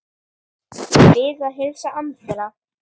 Ég bið að heilsa Andra.